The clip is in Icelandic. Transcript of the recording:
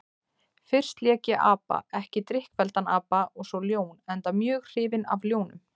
Fyrst lék ég apa, ekki drykkfelldan apa, og svo ljón, enda mjög hrifinn af ljónum.